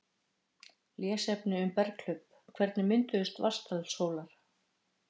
Lesefni um berghlaup: Hvernig mynduðust Vatnsdalshólar?